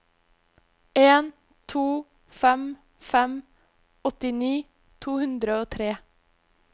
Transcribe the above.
en to fem fem åttini to hundre og tre